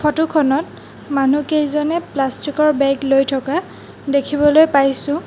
Photo খনত মানুহকেইজনে plastic ৰ বেগ লৈ থকা দেখিবলৈ পাইছোঁ।